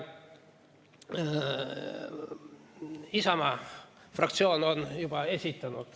Isamaa fraktsioon on juba esitanud ...